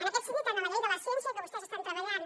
en aquest sentit tant en la llei de la ciència que vostès estan treballant